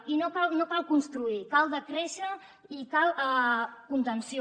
i no cal construir cal decréixer i cal contenció